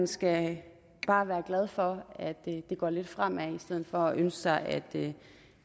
skal være glad for at det går lidt fremad i stedet for at ønske sig at